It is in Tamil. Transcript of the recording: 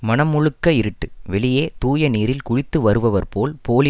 மனம் முழுக்க இருட்டு வெளியே தூய நீரில் குளித்து வருபவர்போல் போலி